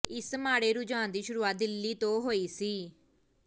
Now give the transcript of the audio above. ਇਸ ਮਾੜੇ ਰੁਝਾਨ ਦੀ ਸ਼ੁਰੂਆਤ ਦਿੱਲੀ ਤੋਂ ਹੋਈ ਸੀ